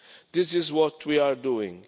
This is what we are doing.